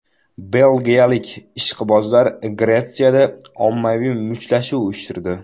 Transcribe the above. Belgiyalik ishqibozlar Gretsiyada ommaviy mushtlashuv uyushtirdi.